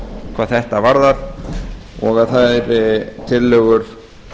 hvað þetta varðar og þær tillögur